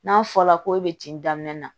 N'a fɔra ko e be tin daminɛ